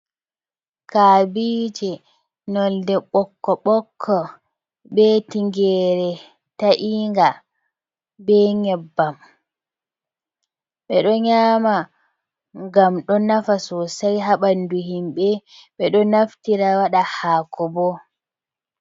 Kaabije nolde ɓokko-ɓokko, be tingere ta'inga, be nyebbam. Ɓeɗo nyama ngam do nafa sosai haa ɓandu himɓe, ɓeɗo naftira waɗa haako bo.